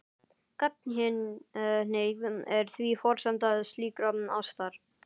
Gagnkynhneigð er því forsenda slíkrar ástar.